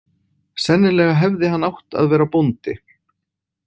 Sennilega hefði hann átt að vera bóndi.